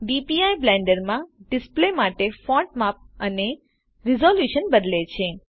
DPI Blender માં display માટે font માપ અને રીઝોલ્યુશન બદલે છે